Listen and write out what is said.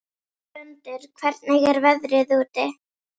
Gvöndur, hvernig er veðrið úti?